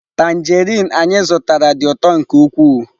Tanjerịn anyị zụtara dị ụtọ nke ukwuu.